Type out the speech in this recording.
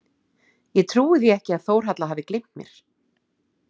Ég trúi því ekki að Þórhalla hafi gleymt mér.